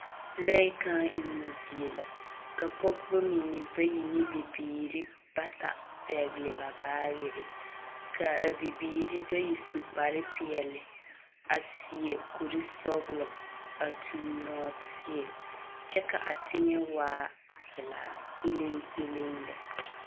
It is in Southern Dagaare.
Lɔɛ kãã emmo zie la, ka pɔgeba mine bayi ne bibiiri bata pɛgle ba baagere, ka a bibiiri bayi su kparepeɛle, a seɛ kurisɔglɔ, a tuŋ nɔɔteɛ, kyɛ ka a teŋɛ waa velaa peleŋ peleŋ lɛ.